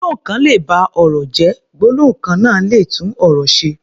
Gbólóhùn kan lè ba ọ̀rọ̀ jẹ́, gbólóhùn kan náà lè tún ọ̀rọ̀ ṣe.